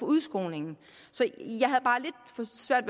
udskolingen så jeg